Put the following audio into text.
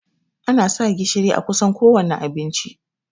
Ana sa gishiri a kusan kowanne abinci